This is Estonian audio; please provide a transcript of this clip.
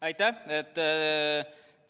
Aitäh!